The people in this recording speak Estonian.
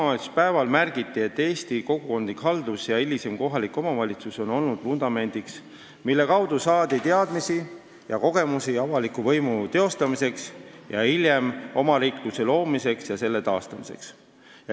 Tol päeval märgiti, et Eesti kogukondlik haldus ja hilisem kohalik omavalitsus on olnud vundamendiks, millele toetudes on saadud teadmisi ja kogemusi avaliku võimu teostamiseks ning hiljem omariikluse loomiseks ja selle taastamiseks.